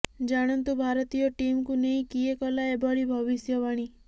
ଜାଣନ୍ତୁ ଭାରତୀୟ ଟିମକୁ ନେଇ କିଏ କଲା ଏଭଳି ଭବିଷ୍ୟବାଣୀ